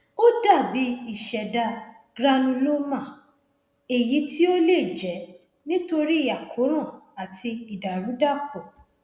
ó dàbí ìṣẹdá granuloma èyí tí ó lè jẹ nítorí àkóràn àti ìdàrúdàpò